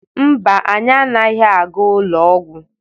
Mba, anyị anaghị aga ụlọ ọgwụ.